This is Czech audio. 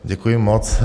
Děkuji moc.